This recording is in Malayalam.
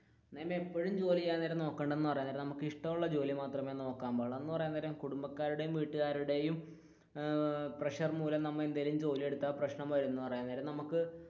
അങ്ങനെ ഇപ്പോഴും ജോലി ചെയ്യാൻ നേരം നോക്കേണ്ടതെന്നു പറയാൻ നേരം നമുക്ക് ഇഷ്ടമുള്ള ജോലി മാത്രമേ നോക്കാൻ പാടുള്ളു എന്ന് പറയാൻ നേരം കുടുംബക്കാരുടെയും വീട്ടുകാരുടെയും ഏർ പ്രഷർ മൂലം നമ്മൾ എന്തെങ്കിലും ജോലി എടുത്താൽ പ്രശ്നം വരുന്നത് എന്ന് പറയാൻ നേരം,